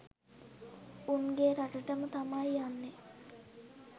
උන්ගෙ රටටම තමයි යන්නේ